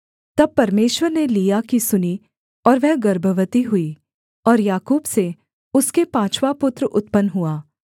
तब परमेश्वर ने लिआ की सुनी और वह गर्भवती हुई और याकूब से उसके पाँचवाँ पुत्र उत्पन्न हुआ